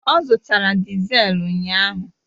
Ọ zụtara diselu ụnyaahụ